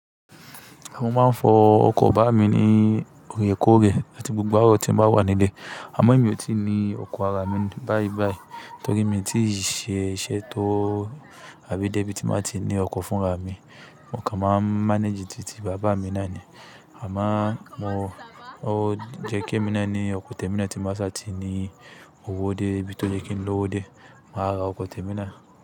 Mo máa ń fọ ọkọ̀ bàbá mi ní Òrekore àti gbogbo àro tí ń bá wà nílẹ̀. Àmọ́ mi ò tí ì ní ọkọ̀ ara mi báyìí báyìí, torí mi ò tí ì ṣe iṣẹ́ tó àbí débí tí máa ti ní ọkọ̀ fún ara mi. Mo kàn máa ń manage títí bàbá mi náà ni. Àmọ́ mo, ó jẹ́ kí ẹ́ mi náà ní ọkọ̀ tèmi náà tí má sá ti ní owó dé bí tó ye kí n ló owó dé, màá ra ọkọ̀ tèmi náà.